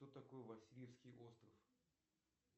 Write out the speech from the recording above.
кто такой васильевский остров